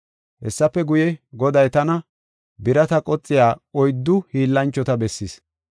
Hessafe guye, Goday tana birata qoxiya oyddu hiillanchota bessis.